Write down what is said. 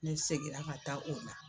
Ne segira ka taa o la